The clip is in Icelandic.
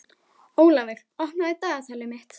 Ólafur, opnaðu dagatalið mitt.